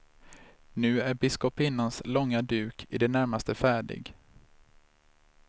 Nu är biskopinnans långa duk i det närmaste färdig.